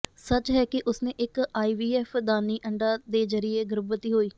ਸੱਚ ਹੈ ਕਿ ਉਸਨੇ ਇੱਕ ਆਈਵੀਐਫ ਦਾਨੀ ਅੰਡਾ ਦੇ ਜ਼ਰੀਏ ਗਰਭਵਤੀ ਹੋਈ